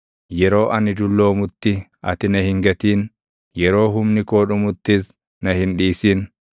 Yeroo ani dulloomutti ati na hin gatin; yeroo humni koo dhumuttis na hin dhiisin.